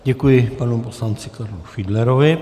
Děkuji panu poslanci Karlu Fiedlerovi.